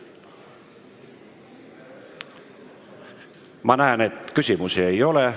Ma näen, et küsimusi ei ole.